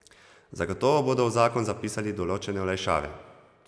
Zato bodo v zakon zapisali določene olajšave.